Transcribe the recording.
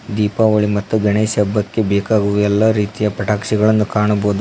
ದೀಪಾವಳಿ ಗಣೇಶ ಹಬ್ಬಕ್ಕೆ ಬೇಕಾಗುವ ಎಲ್ಲ ರೀತಿಯ ಪಟಾಕ್ಷಿಗಳನ್ನು ಕಾಣಬಹುದು.